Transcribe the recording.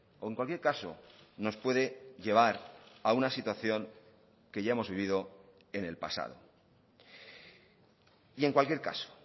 o en cualquier caso nos puede llevar a una situación que ya hemos vivido en el pasado y en cualquier caso